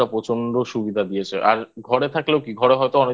প্রচন্ড সুবিধা দিয়েছে আর ঘরে থাকলেও কি ঘরে হয়তো অনেক